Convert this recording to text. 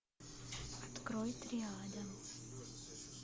открой триада